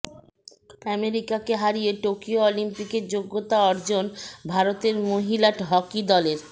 আমেরিকাকে হারিয়ে টোকিও অলিম্পিকের যোগ্যতা অর্জন ভারতের মহিলা হকি দলের